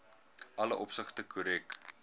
alle opsigte korrek